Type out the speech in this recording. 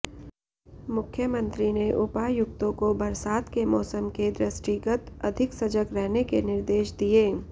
मुख्यमंत्री ने उपायुक्तों को बरसात के मौसम के दृष्टिगत अधिक सजग रहने के निर्देश दिए